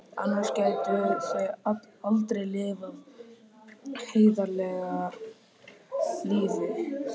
Annars gætu þau aldrei lifað heiðarlegu lífi.